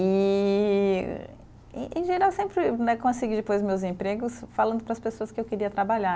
E, em em geral, sempre né consegui depois meus empregos falando para as pessoas que eu queria trabalhar.